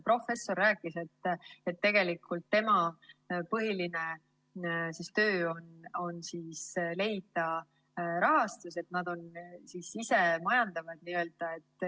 Professor rääkis, et tegelikult tema põhiline töö on leida rahastust, et nad on n-ö isemajandavad.